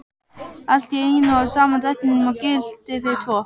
Allt í einum og sama drættinum og gilti fyrir tvo!